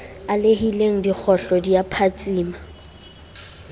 alehileng dikgohlo di a phatsima